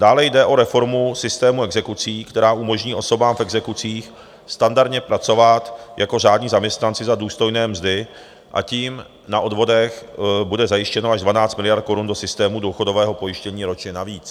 Dále jde o reformu systémů exekucí, která umožní osobám v exekucích standardně pracovat jako řádní zaměstnanci za důstojné mzdy a tím na odvodech bude zajištěno až 12 miliard korun do systému důchodového pojištění ročně navíc.